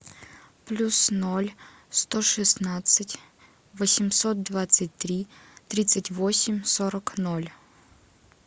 плюс ноль сто шестнадцать восемьсот двадцать три тридцать восемь сорок ноль